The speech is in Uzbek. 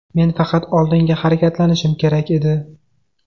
Men faqat oldinga harakatlanishim kerak edi.